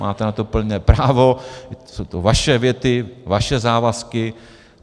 Máte na to plné právo, jsou to vaše věty, vaše závazky.